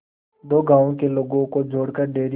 दो गांवों के लोगों को जोड़कर डेयरी